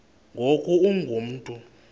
ngoku ungu mntu